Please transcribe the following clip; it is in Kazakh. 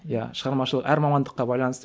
иә шығармашыл әр мамандыққа байланысты